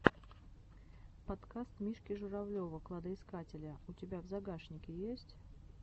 подкаст мишки журавлева кладоискателя у тебя в загашнике есть